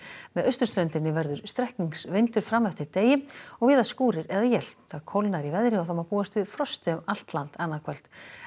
með austurströndinni verður strekkingsvindur fram eftir degi og víða skúrir eða él kólnar í veðri og má búast við frosti um allt land annað kvöld